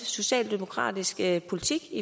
socialdemokratiske politik